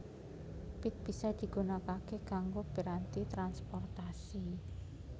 Pit bisa digunakake kanggo piranti transportasi